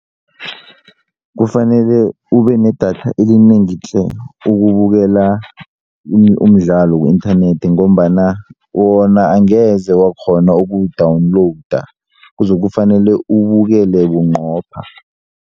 Kufanele ube nedatha elinengi tle ukubukela umdlalo ku-inthanethi ngombana wona angeze wakghona ukuwu-download kuzokufanele uwubukele bunqopha.